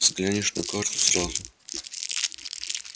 взглянешь на карту сразу